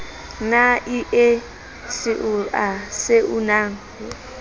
na ie seoa se unang